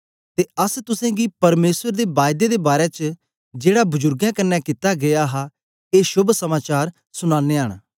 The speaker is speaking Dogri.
ते अस तुसेंगी परमेसर दे बायदे दे बारै च जेड़ा बजुर्गें कन्ने कित्ता गीया हा ए शोभ समाचार सुनानयां न